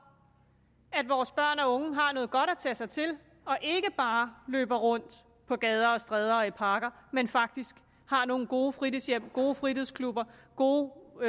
at vores børn og unge har noget godt at tage sig til og ikke bare løber rundt på gader og stræder og i parker men faktisk har nogle gode fritidshjem gode fritidsklubber gode